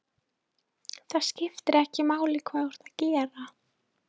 Það skiptir ekki máli hvað þú ert að gera.